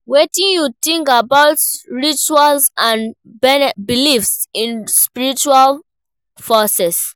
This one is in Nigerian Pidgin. Wetin you think about rituals and beliefs in spiritual forces?